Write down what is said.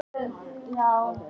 Loks fæst niðurstaða í málið.